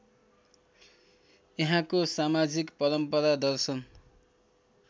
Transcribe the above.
यहाँको समाजिक परम्परा दर्शन